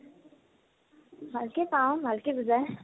ভালকে পাও, ভালকে বুজায়।